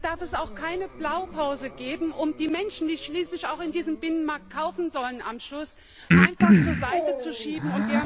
Und da darf es auch keine Blaupause geben, um die Menschen, die schließlich auch in diesem Binnenmarkt kaufen sollen, und deren Rechte am Schluss einfach zur Seite zu schieben.